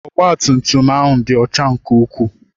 Ọgba tum tum ahụ dị ọcha nke ukwuu.